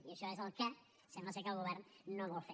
i això és el que sembla ser que el govern no vol fer